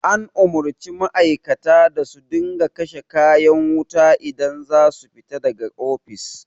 An umarci ma'aikata da su dinga kashe kayan wuta idan za su fita da ga ofis